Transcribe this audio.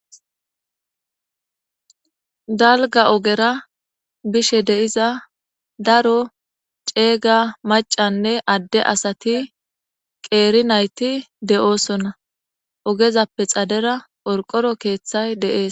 Dalga ogera bishe de7iza daro ceeyga macanne adde asati qeeri nayti de7oosonna, ogezappe xadera orqoro keeththay deees